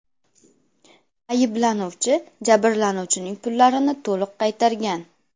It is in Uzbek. Ayblanuvchi jabrlanuvchining pullarini to‘liq qaytargan.